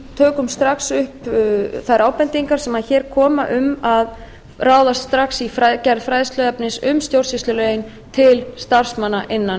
tökum strax upp þær ábendingar sem hér koma um að ráðast strax í gerð fræðsluefnis um stjórnsýslulögin til starfsmanna innan